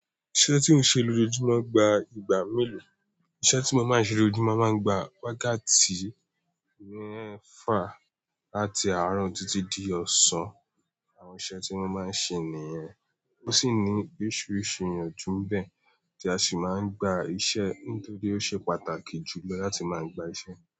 Iṣẹ́ tí o ń ṣe lójoojúmọ́ gba ìgbà mélòó, iṣẹ́ tí mo máa ń ṣe lójoojúmọ́ máa ń gba wákàtí mefa lati àárọ̀ títí di ọ̀sán. Àwọn iṣẹ́ tí wọ́n máa ń ṣe nìyẹn. Ó sì ní oríṣiríṣi ìyanjú bẹ́ẹ̀ tí a sì máa ń gba iṣẹ́ nítorí ó ṣe pàtàkì jù lọ láti máa gba iṣẹ́